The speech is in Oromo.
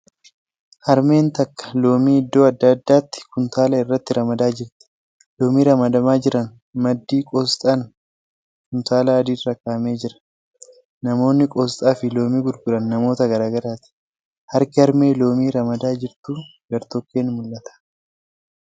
Harmeen takka loomii iddoo adda addaatti kuntaala irratti ramadaa jirti . Loomii ramadamaa jiran maddii qoosxaan kuntaala adii irra kaa'amee jira. Namoonni qoosxaa fi loomii gurguran namoota garagaraati. Harki harmee loomii ramadaa jirtu gartokkeen mul'ata.